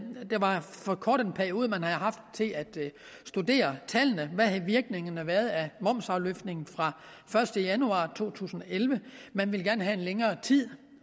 var for kort en periode man havde haft til at studere tallene hvad havde virkningerne været af momsafløftningen fra første januar 2011 man ville gerne have længere tid